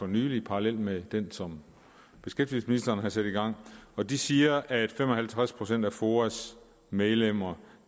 nylig parallelt med den som beskæftigelsesministeren har sat i gang og de siger at for fem og halvtreds procent af foas medlemmer